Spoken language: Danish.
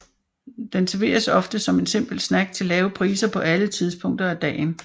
Den serveres ofte som en simpel snack til lave priser på alle tidspunkter af dagen